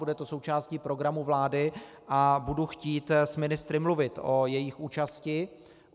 Bude to součástí programu vlády a budu chtít s ministry mluvit o jejich účasti.